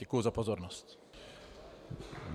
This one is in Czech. Děkuji za pozornost.